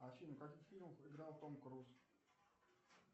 афина в каких фильмах играл том круз